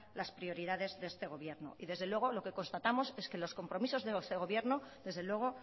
las prioridades de este gobierno y desde luego lo que constatamos es que los compromisos de este gobierno desde luego